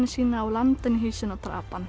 sína og lamdi hann í hausinn og drap hann